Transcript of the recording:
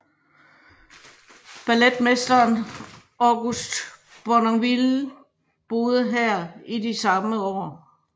Balletmesteren August Bournonville boede her i de samme år